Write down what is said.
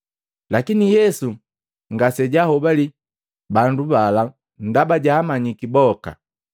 Lakini Yesu ngasejaahobali bandu bala ndaba jaamanyiki boka.